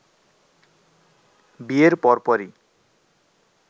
বিয়ের পর পরই